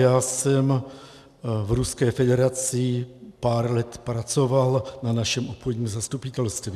Já jsem v Ruské federaci pár let pracoval na našem obchodním zastupitelství.